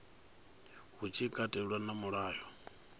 hu tshi katelwa na mulayo